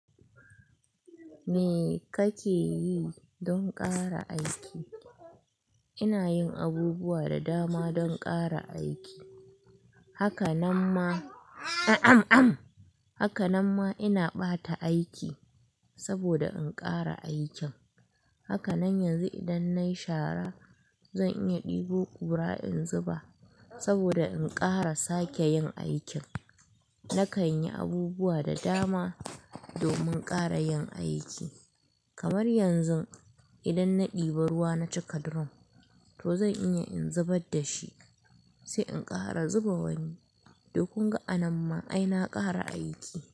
Me kake yi don ƙara aiki? Ina yin abubuwa da dama don ƙara aiki. Haka nan ma haka nan ma ina ɓata aiki saboda in ƙara aikin. Haka nan yanzu idan nayi shara zan iya ɗebo ƙura in zuba saboda in ƙara sake yin aikin. Na kan yi abubuwa da dama domin ƙara yin aiki. Kamar yanzu idan na ɗebi ruwa na cika drum to zan iya in zubar da shi sai in ƙara zuba wani. Dukku ga a nan ma ai na ƙara aiki.